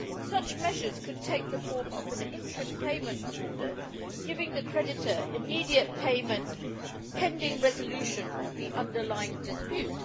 Such measures could take the form of an interim payment order, giving the creditor immediate payment pending resolution of the underlying dispute.